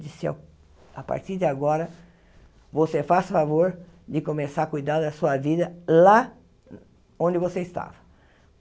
Disse, a partir de agora, você faz favor de começar a cuidar da sua vida lá onde você estava.